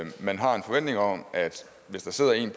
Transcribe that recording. man har en forventning om at hvis der sidder en